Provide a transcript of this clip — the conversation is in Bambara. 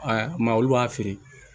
A ma olu b'a feere